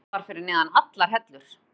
Þetta var fyrir neðan allar hellur.